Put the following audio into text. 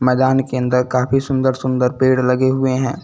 मैदान के अंदर काफी सुंदर सुंदर पेड़ लगे हुए हैं।